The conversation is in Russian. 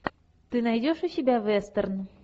ты найдешь у себя вестерн